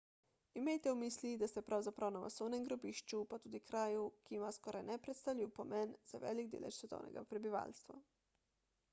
imejte v mislih da ste pravzaprav na masovnem grobišču pa tudi kraju ki ima skoraj nepredstavljiv pomen za velik delež svetovnega prebivalstva